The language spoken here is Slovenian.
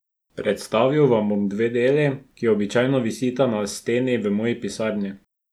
Predstavil vam bom dve deli, ki običajno visita na steni v moji pisarni.